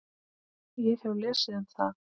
Ég hef lesið um það.